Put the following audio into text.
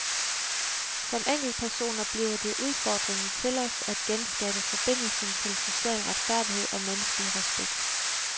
Som enkeltpersoner bliver det udfordringen til os at genskabe forbindelsen til social retfærdighed og menneskelig respekt.